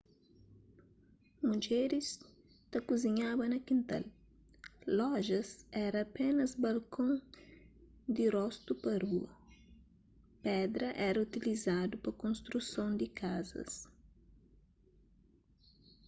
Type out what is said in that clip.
mudjeris ta kuzinhaba na kintal lojas éra apénas balkon di rostu pa rua pedra éra utilizadu pa konstruson di kazas